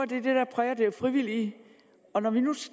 det der præger det frivillige og når vi nu